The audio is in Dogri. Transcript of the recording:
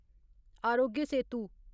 आरोग्य सेतु